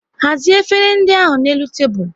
Hazie efere ndị ahụ na n'elu tebụl